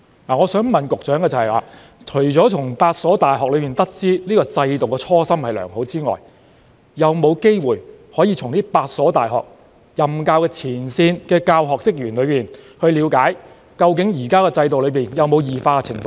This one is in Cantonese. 我想問局長，除了從8所大學得知這制度的初心良好之外，當局有否機會向8所大學的前線教學人員了解，現行制度究竟有否出現異化情況？